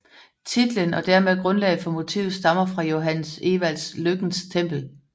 Titlen og dermed grundlaget for motivet stammer fra Johannes Ewalds Lykkens Tempel